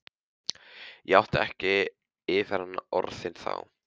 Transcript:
Ég átti ekki yfir hana orðin þá.